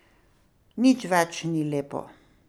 Nič več ni lepo.